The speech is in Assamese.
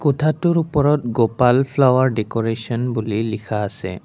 কোঠাটোৰ ওপৰত গোপাল ফ্লাৱাৰ ডেক'ৰেচন বুলি লিখা আছে।